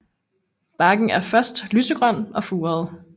Barken er først lysegrøn og furet